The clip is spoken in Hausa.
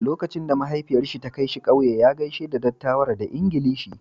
Lokacin da mahaifiyarsa ta kai shi kauye, ya gaishe da dattawan da Ingilishi.